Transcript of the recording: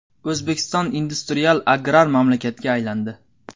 O‘zbekiston industrial-agrar mamlakatga aylandi.